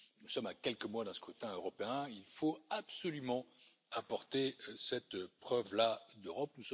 Nous sommes à quelques mois d'un scrutin européen, il faut absolument apporter cette preuve là d'Europe.